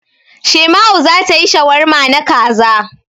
Shaima'u za ta yi shawarma na kaza.